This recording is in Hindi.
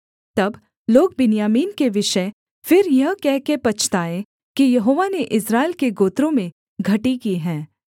तब लोग बिन्यामीन के विषय फिर यह कहकर पछताये कि यहोवा ने इस्राएल के गोत्रों में घटी की है